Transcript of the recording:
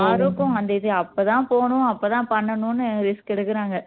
யாருக்கும் அந்த இது அப்போ தான் போகணும் அப்போ தான் பண்ணணும்னு risk எடுக்குறாங்க